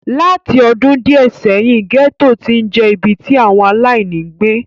Láti ọdún díẹ̀ sẹ́yìn, gẹ́tò ti ń je ibi tí àwọn aláìní ń gbé.